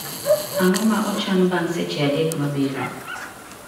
Ang'o ma ochanbang' seche adek mabiro.